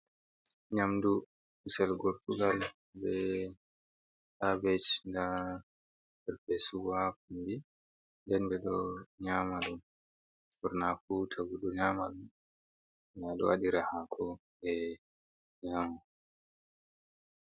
Nyamdu gusel gortugal be kabech da perpesu ha gombi, den be do nyamadum burnafu tagu do nyamadum bo dowadira hako be nyama.